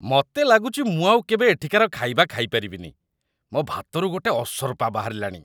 ମତେ ଲାଗୁଚି ମୁଁ ଆଉ କେବେ ଏଠିକାର ଖାଇବା ଖାଇପାରିବିନି, ମୋ' ଭାତରୁ ଗୋଟେ ଅସରପା ବାହାରିଲାଣି ।